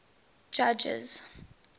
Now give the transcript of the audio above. judges